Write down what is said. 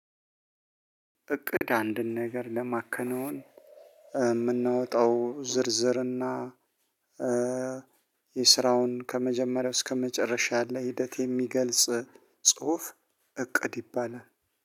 እቅድ አንድን ነገር ለማከነውን እምናወጣው ዝርዝርና እና የስራውን ከመጀመሪያው እስከመጨረሻ ያለ ሂደት የሚገልጽ ጽሁፍ። እቅድ ይባላል።